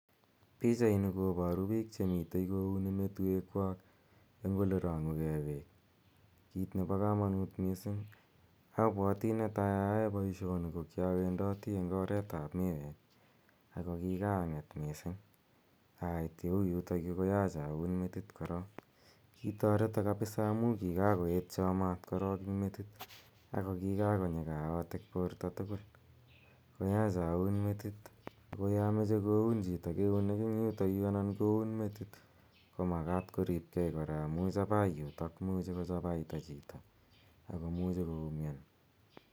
Pichaini koparu piik che mitei kouni metuekwak eng' ole rang'une ge peek, kiit nepa kamanut missing'.Apwati ne tai ayae poishoni ko ki awendati eng' oret ap miweek ako kikaang'et missing' ait ye u yutakyu koyach aun metit korok. Kitareta kapisa amu kikakoetcha maat korok eng' metit ako kikakonyi kaotik porto tugul koyacha aun metit. Ako ya mache koun chito keunek eng' yutayu anan koune metit i, ko makat koripgei kora amu chapai yutok, imuchi kochapaita chito ako muchi koumian.